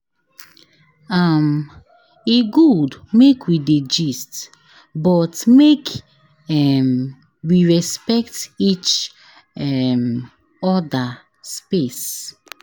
um E good make we dey gist, but make um we respect each um oda space.